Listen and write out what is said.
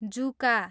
जुका